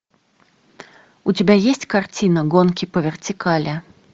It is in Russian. у тебя есть картина гонки по вертикали